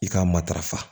I ka matarafa